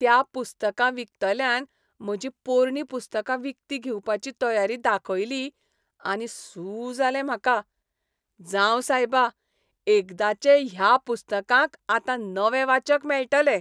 त्या पुस्तकां विकतल्यान म्हजीं पोरणीं पुस्तकां विकतीं घेवपाची तयारी दाखयली आनी सू जालें म्हाका. जावं सायबा, एकदाचे ह्या पुस्तकांक आतां नवे वाचक मेळटले.